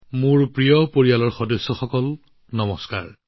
মোৰ প্ৰিয় পৰিয়ালবৰ্গ নমস্কাৰ